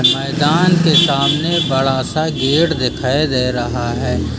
मैदान के सामने बड़ा सा गेट देखाई दे रहा है।